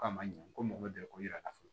Ko a ma ɲɛ ko mago bɛ dɛ ko yira a la